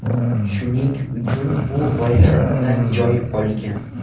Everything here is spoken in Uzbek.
Shuning uchun bu ro‘yxatdan joy olgan.